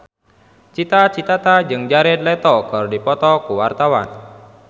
Cita Citata jeung Jared Leto keur dipoto ku wartawan